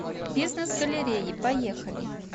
бизнес галереи поехали